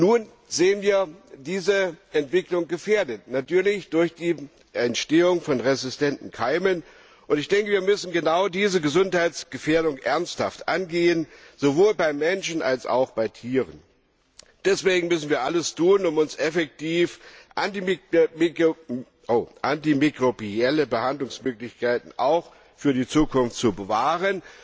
Nun sehen wir diese Entwicklung durch die Entstehung von resistenten Keimen gefährdet. Wir müssen genau diese Gesundheitsgefährdung ernsthaft angehen, sowohl beim Menschen als auch bei Tieren. Deswegen müssen wir alles tun, um uns effektiv antimikrobielle Behandlungsmöglichkeiten auch für die Zukunft zu bewahren.